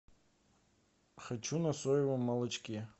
хочу на соевом молочке